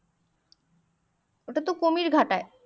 ওটাতো কুমির ঘটাই